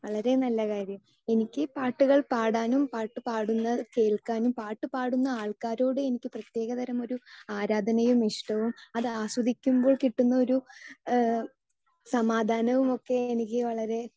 speaker 2 എനിക്ക് പാട്ടുകൾ പാടാനും പാട്ട് പാടുന്നത് കേൾക്കാനും പാട്ടുപാടുന്ന ആൾക്കാരോട് എനിക്ക് പ്രത്യേകതരമൊരു ആരാധനയും ഇഷ്ടവും അത് ആസ്വദിക്കുമ്പോൾ കിട്ടുന്ന ഒരു സമാധാനവും ഒക്കെ എനിക്ക് വളരെ